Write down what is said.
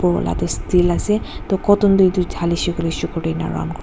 steel ase toh cotton toh dhalisey koiley sugar toh enika round kurivo.